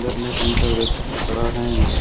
इसमें तीन चार व्यक्ति खड़ा हैं।